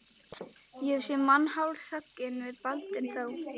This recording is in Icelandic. Ég hef séð mann hálshöggvinn, sagði Baldvin þá.